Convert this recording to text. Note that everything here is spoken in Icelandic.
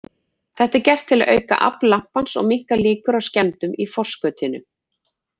Þetta er gert til að auka afl lampans og minnka líkur á skemmdum í forskautinu.